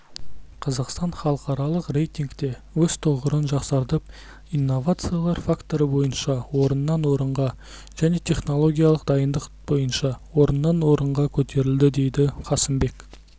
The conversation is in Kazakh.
қазақстан халықаралық рейтингте өз тұғырын жақсартып инновациялар факторы бойынша орыннан орынға және технологиялық дайындық бойынша орыннан орынға көтерілді дейді қасымбек